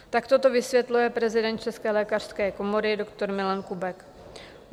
Takto to vysvětluje prezident České lékařské komory doktor Milan Kubek.